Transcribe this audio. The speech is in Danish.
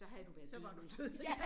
Så var du død